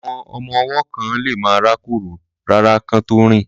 Àwọn ọmọ ọwọ́ kán lemá rákórò rárá kán tó rìn